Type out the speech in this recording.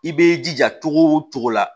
I b'i jija cogo o cogo la